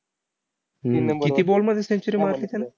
हम्म किती ball मध्ये century मारली त्याने?